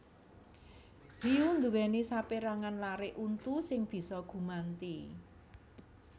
Hiyu nduwèni sapérangan larik untu sing bisa gumanti